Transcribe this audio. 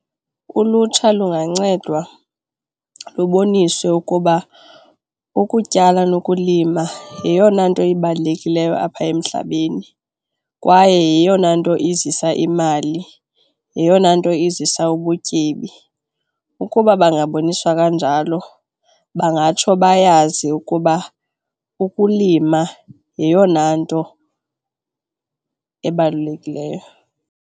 Ulutsha lungancedwa luboniswe ukuba ukutyala nokulima yeyona nto ibalulekileyo apha emhlabeni kwaye yeyona nto izisa imali, yeyona nto izisa ubutyebi. Ukuba bangaboniswa kanjalo bangatsho bayazi ukuba ukulima yeyona nto ebalulekileyo.